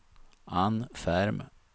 Ann Ferm